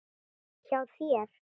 Hjá þér?